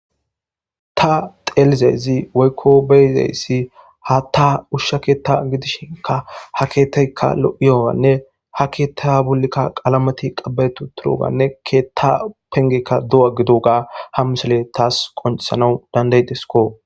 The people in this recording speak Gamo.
Ta xeelizaysi woykko be'izeyssi ha ta ushsha keetta gidishinka ha keettaykka lo7iyoganne ha keetta bulikka qaalamati qabayetu turoganne keetta pengekka du7a gidoga ham misele taas qoncisanau dandaydesko.